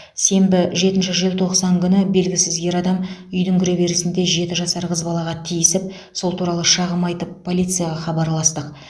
сенбі жетінші желтоқсан күні белгісіз ер адам үйдің кіреберісінде жеті жасар қыз балаға тиісіп сол туралы шағым айтып полицияға хабарластық